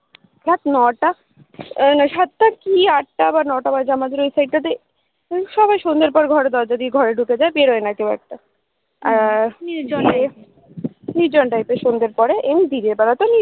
রাত নটা সাত টা কি আট টা বা ন টা বাজে আমাদের ওই side টাতে সবাই সন্ধ্যের পর ঘরে দরজা দিয়ে ঘরে ঢুকে যায় বেরোয়না কেউ খুব একটা আর নির্জন type এর সন্ধ্যের পরে এই দিনের বেলাতে